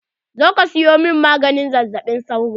Zo ka siyo min maganin zazzaɓi sauro!